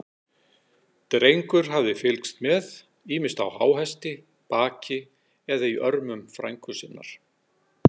Drengur hafði fylgst með, ýmist á háhesti, baki eða í örmum frænku sinnar.